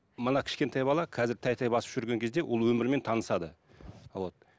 мына кішкентай бала қазір тәй тәй басып жүрген кезде ол өмірмен танысады вот